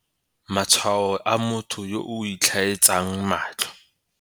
Matshwao a motho yo o itlhaetsang matlho